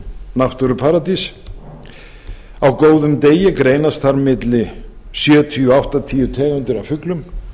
náttúruparadís á góðum degi greinast þar á milli sjötíu til áttatíu tegundir af fuglum